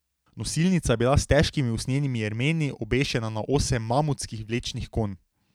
Nosilnica je bila s težkimi usnjenimi jermeni obešena na osem mamutskih vlečnih konj.